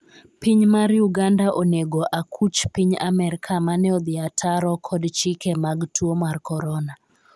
piny mar Uganda Onego akuch piny Amerka mane odhi ataro kod chike mag tuo mar korona